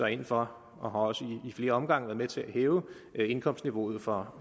ind for og har også i flere omgange været med til at hæve indkomstniveauet for